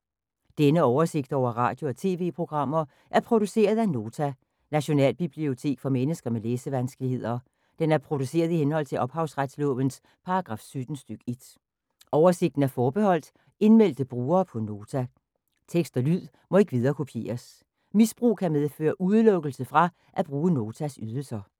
Denne oversigt over radio og TV-programmer er produceret af Nota, Nationalbibliotek for mennesker med læsevanskeligheder. Den er produceret i henhold til ophavsretslovens paragraf 17 stk. 1. Oversigten er forbeholdt indmeldte brugere på Nota. Tekst og lyd må ikke viderekopieres. Misbrug kan medføre udelukkelse fra at bruge Notas ydelser.